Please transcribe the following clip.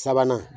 Sabanan